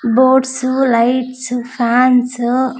Buds lights fans .